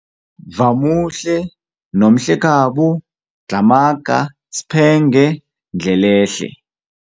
Vamuhle, Nomhlekhabo, Dlhamaga, S'phenge, Ndlelehle.